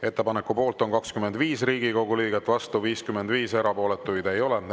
Ettepaneku poolt on 25 Riigikogu liiget, vastu 55, erapooletuid ei ole.